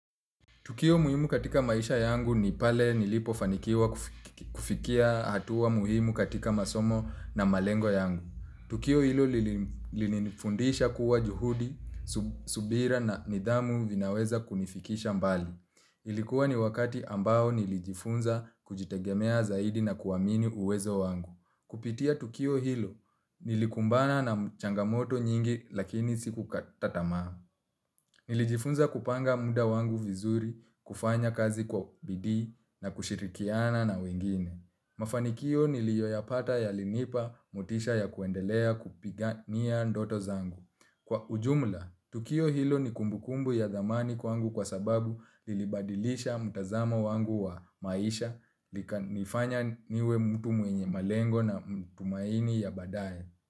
Tukio muhimu katika maisha yangu ni pale nilipofanikiwa kufikia hatuwa muhimu katika masomo na malengo yangu. Tukio hilo lilinifundisha kuwa juhudi, subira na nidhamu vinaweza kunifikisha mbali. Ilikuwa ni wakati ambao nilijifunza kujitegemea zaidi na kuamini uwezo wangu. Kupitia tukio hilo, nilikumbana na changamoto nyingi lakini siku kata tamaa. Nilijifunza kupanga muda wangu vizuri, kufanya kazi kwa bidii na kushirikiana na wengine. Mafanikio niliyoyapata yalinipa motisha ya kuendelea kupigania ndoto zangu. Kwa ujumla, tukio hilo ni kumbukumbu ya dhamani kwangu kwa sababu lilibadilisha mutazama wangu wa maisha, ikanifanya niwe mtu mwenye malengo na matumaini ya badaye.